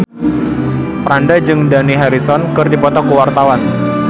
Franda jeung Dani Harrison keur dipoto ku wartawan